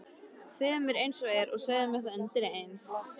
Segðu mér einsog er og segðu mér það undireins.